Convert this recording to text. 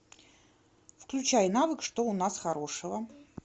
включай навык что у нас хорошего